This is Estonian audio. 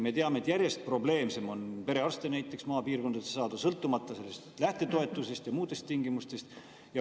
Me teame, et järjest probleemsem on perearste maapiirkondadesse saada, sõltumata sellest lähtetoetusest ja muudest tingimustest.